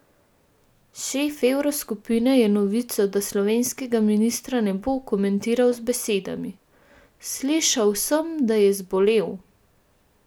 Šef evroskupine je novico, da slovenskega ministra ne bo, komentiral z besedami: "Slišal sem, da je zbolel.